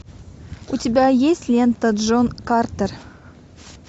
у тебя есть лента джон картер